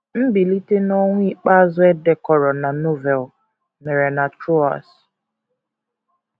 Mbilite n’ọnwụ ikpeazụ e dekọrọ na Novel mere na Troas.